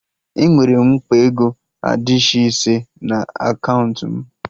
Enwere m akpa ego adishị ise na akaụntụ m